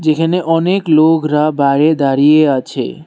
যেখানে অনেক লোগরা বাইরে দাড়িয়ে আছে।